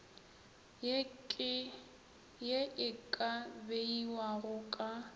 ye e ka beiwago ka